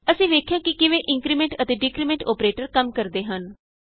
ਅਸੀਂ ਵੇਖਿਆ ਕਿ ਕਿਵੇਂ ਇੰਕਰੀਮੈਂਟ ਅਤੇ ਡਿਕਰੀਮੈਂਟ ਅੋਪਰੇਟਰ ਕੰਮ ਕਰਦੇ ਹਨ